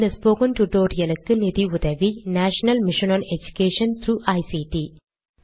இந்த ஸ்போகன் டுடோரியலுக்கு நிதி உதவி national mission of education through ICT